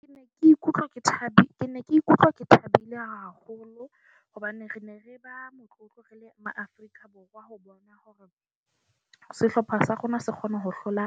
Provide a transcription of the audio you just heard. Ke ne ke ikutlwa ke thabile, ke ne ke ikutlwa ke thabile haholo hobane re ne re ba motlotlo re le maaforika Boroa ho bona hore sehlopha sa rona se kgone ho hlola